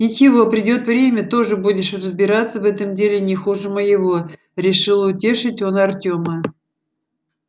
ничего придёт время тоже будешь разбираться в этом деле не хуже моего решил утешить он артёма